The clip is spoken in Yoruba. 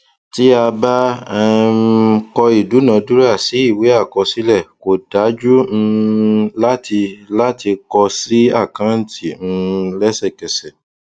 tí a bá um kọ ìdúnadúrà sí ìwé àkọsílẹ kò dájú um láti láti kọ sí àkáǹtì um lẹsẹkẹsẹ